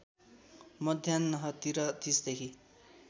मध्यान्हतिर ३० देखि